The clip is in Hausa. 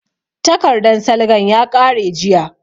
Takardan salgan ya ƙare jiya